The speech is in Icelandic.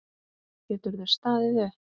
Geturðu staðið upp?